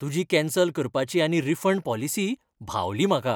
तुजी कॅन्सल करपाची आनी रिफंड पॉलिसी भावली म्हाका.